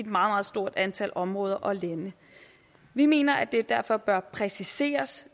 meget stort antal områder og lande vi mener at det derfor bør præciseres